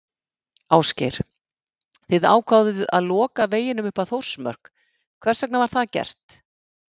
Ásgeir: Þið ákváðuð að loka veginum upp að Þórsmörk, hvers vegna var það gert?